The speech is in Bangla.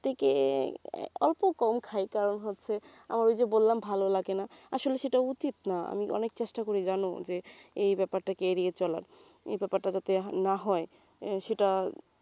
থেকে অল্প কম খাই কারণ হচ্ছে আমার ওই যে বললাম ভালো লাগেনা আসলে সেটা উচিত না আমি অনেক চেষ্টা করি জানো এই ব্যাপারটাকে এড়িয়ে চলার এই ব্যাপারটা যাতে না হয় আহ সেটা